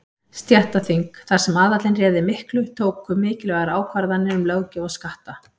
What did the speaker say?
Stéttaþing, þar sem aðallinn réði miklu, tóku mikilvægar ákvarðanir um löggjöf og skatta.